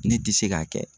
Ne tɛ se k'a kɛ